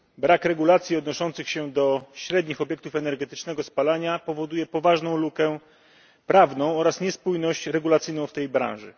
Brak regulacji odnoszących się do średnich obiektów energetycznego spalania powoduje poważną lukę prawną oraz niespójność regulacyjną w tej branży.